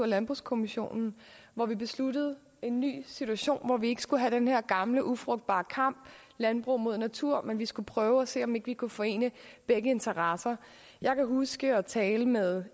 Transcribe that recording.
landbrugskommissionen hvor vi besluttede en ny situation hvor vi ikke skulle have den her gamle ufrugtbare kamp landbruget mod naturen men at vi skulle prøve at se om ikke vi kunne forene begge interesser jeg kan huske jeg talte med